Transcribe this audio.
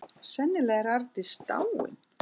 Sennilega er Arndís dáin.